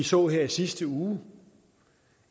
så her i sidste uge